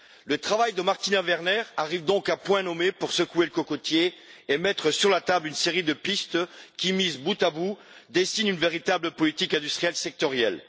Le travail de Martina Werner arrive donc à point nommé pour secouer le cocotier et mettre sur la table une série de pistes qui, mises bout à bout, dessinent une véritable politique industrielle sectorielle.